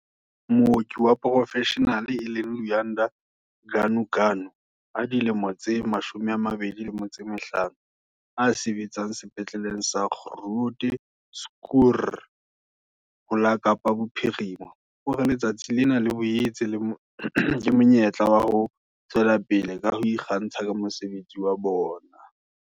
Mooki wa porofeshenale e leng Luyanda Ganuganu a dilemo tse 25, a sebetsang Sepetleleng sa Groote Schuur ho la Kapa Bophirima, o re letsatsi lena le boetse ke monyetla wa ho tswela pele ka ho ikgantsha ka mosebetsi wa bona.